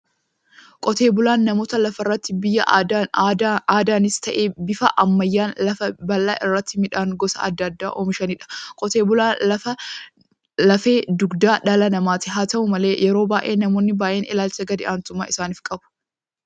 Qotee bulaan namoota lafarratti bifa aadaanis ta'ee bifa ammayyaan lafa bal'aa irratti midhaan gosa adda addaa oomishaniidha. Qotee bulaan lafe dugdaa dhala namaati. Haata'u malee yeroo baay'ee namoonni baay'een ilaalcha gad-aantummaa isaanif qabu.